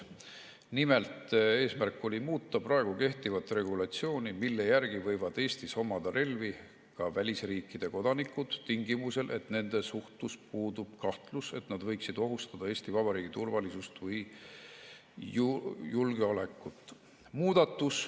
Nimelt, eesmärk oli muuta kehtivat regulatsiooni, mille järgi võivad Eestis omada relvi ka välisriikide kodanikud, tingimusel, et nende suhtes puudub kahtlus, et nad võiksid ohustada Eesti Vabariigi turvalisust või julgeolekut.